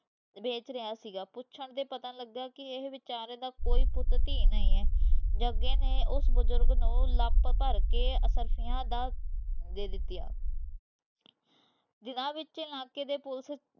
ਵੇਖ ਰਿਹਾ ਸੀਗਾ ਪੁੱਛਣ ਤੇ ਪਤਾ ਲਗਾ ਕਿ ਇਹ ਬਿਚਾਰੇ ਦਾ ਕੋਈ ਪੁੱਤ ਧੀ ਨਹੀਂ ਹੈ। ਜੱਗੇ ਨੇ ਉਸ ਬਜ਼ੁਰਗ ਨੂੰ ਲਪ ਭਰ ਕੇ ਅਸਰਫ਼ੀਆਂ ਦਾ ਦੇ ਦਿਤੀਆਂ ਦਿਨਾਂ ਵਿੱਚ ਇਲਾਕੇ ਦੀ police